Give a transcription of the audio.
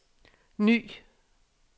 ny